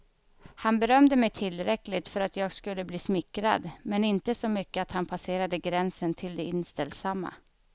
Han berömde mig tillräckligt för att jag skulle bli smickrad, men inte så mycket att han passerade gränsen till det inställsamma.